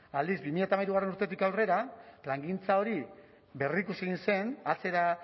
aldiz bi mila hamairugarrena urtetik aurrera plangintza hori berrikusi egin zen atzera